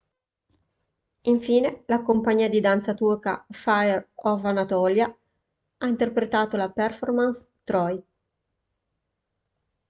infine la compagnia di danza turca fire of anatolia ha interpretato la performance troy